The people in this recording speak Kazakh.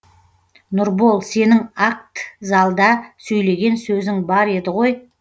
нұрбол сенің акт залда сөйлеген сөзің бар еді ғой